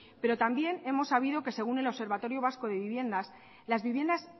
pero también hemos sabido que según el observatorio vasco de viviendas las viviendas